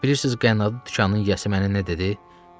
Bilirsiz qənnadı dükanın yiyəsi mənə nə dedi?